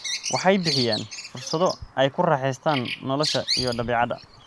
Waxay bixiyaan fursado ay ku raaxaystaan ??nolosha iyo dabeecadda.